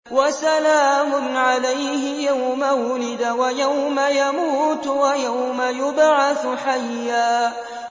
وَسَلَامٌ عَلَيْهِ يَوْمَ وُلِدَ وَيَوْمَ يَمُوتُ وَيَوْمَ يُبْعَثُ حَيًّا